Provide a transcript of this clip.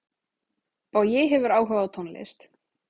Bogi hefur áhuga á tónlist.